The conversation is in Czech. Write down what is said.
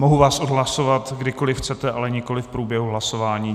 Mohu vás odhlašovat, kdykoli chcete, ale nikoli v průběhu hlasování.